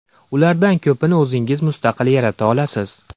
Ulardan ko‘pini o‘zingiz mustaqil yarata olasiz.